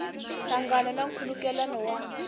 nhlangano na nkhulukelano wa